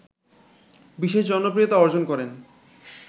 বিশেষ জনপ্রিয়তা অর্জন করেন